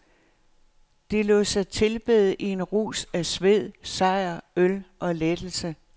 De lod sig tilbede i en rus af sved, sejr, øl og lettelse.